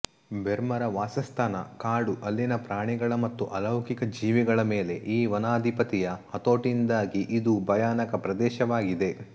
ಬೆರ್ಮರ ವಾಸಸ್ಥಾನ ಕಾಡು ಅಲ್ಲಿನ ಪ್ರಾಣಿಗಳ ಮತ್ತು ಅಲೌಕಿಕ ಜೀವಿಗಳ ಮೇಲೆ ಈ ವನಾಧಿಪತಿಯ ಹತೋಟಿಯಿಂದಾಗಿ ಇದು ಭಯಾನಕ ಪ್ರದೇಶವಾಗಿದೆ